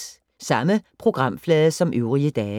Samme programflade som øvrige dage